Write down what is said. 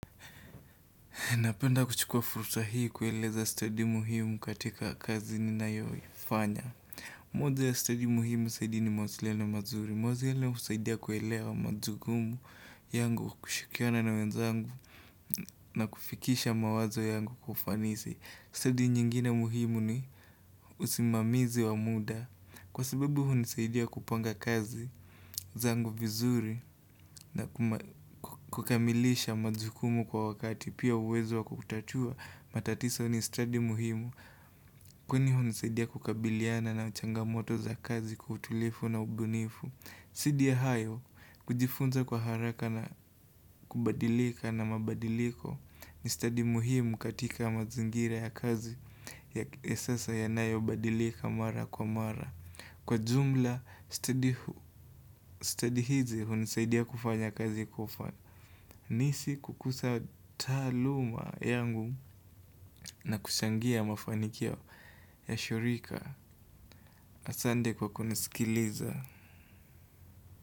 Napenda kuchukua fursa hii kueleza stadi muhimu katika kazi ninayo ifanya. Moja ya stadi muhimu zaidi ni mawasiliano mazuri. Mawazo ile husaidia kuelewa majukumu yangu kushikiana na wenzangu na kufikisha mawazo yangu kwa ufanisi. Study nyingine muhimu ni usimamizi wa muda. Kwa sabebu hunisaidia kupanga kazi, zangu vizuri na kukamilisha majukumu kwa wakati pia uwezo wakukutatua matatiso nistadi muhimu. Kwani hunisaidia kukabiliana na changa moto za kazi kwa utulifu na ubunifu. Saidi ya hayo, kujifunza kwa haraka na kubadilika na mabadiliko ni study muhimu katika mazingira ya kazi ya sasa ya nayo badilika mara kwa mara. Kwa jumla study hizi hunisaidia kufanya kazi kwa ufanisi kukusa taaluma yangu na kushangia mafanikio ya shirika Asande kwa kunisikiliza.